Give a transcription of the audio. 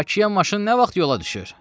Bakıya maşın nə vaxt yola düşür?